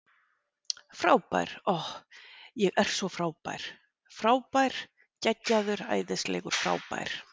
Frábær, ohh, ég er svo frábær frábær, geggjaður, æðislegur, frábær.